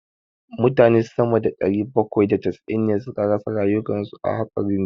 Mutane sama da ɗari bakwai da casa'in ne suka rasa rayukan su a hatsarin jirgi.